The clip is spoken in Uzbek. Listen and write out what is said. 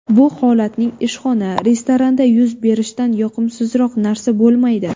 Bu holatning ishxona, restoranda yuz berishidan yoqimsizroq narsa bo‘lmaydi.